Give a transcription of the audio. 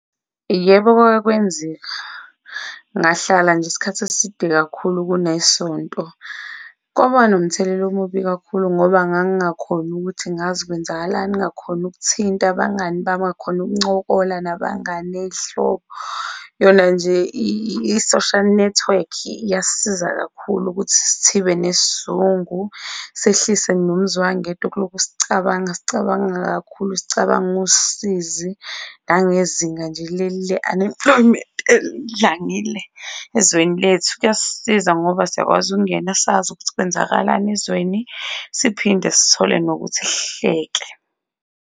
Yebo, kwake kwenzeka ngahlala nje isikhathi eside kakhulu kune sonto, kwaba nomthelela omubi kakhulu ngoba ngang'ngakhoni ukuthi ngazi kwenzakalani, ngingakhoni ukuthinta abangani bami, ngingakhoni ukuncokola nabangani ney'hlobo. Yona nje i-social nethiwekhi iyasiza kakhulu ukuthi sithibe nesizungu, sehlise nomzwangedwa kulokhu sicabanga, sicabanga kakhulu, sicabanga usizi, nangezinga nje le-unemployment elidlangile ezweni lethu. Kuyasiza ngoba siyakwazi ukungena sazi ukuthi kwenzakalani ezweni siphinde sithole nokuthi sihleke.